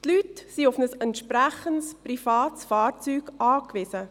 Die Leute sind auf ein entsprechendes privates Fahrzeug angewiesen.